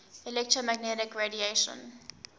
electromagnetic radiation